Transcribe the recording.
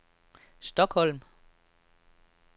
Stockholm